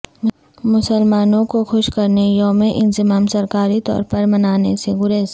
مسلمانوں کو خوش کرنے یوم انضمام سرکاری طورپر منانے سے گریز